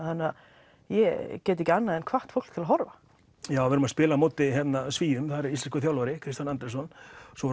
þannig að ég get ekki annað en hvatt fólk til að horfa já við erum að spila á móti Svíum þar er íslenskur þjálfari Kristján Andrésson svo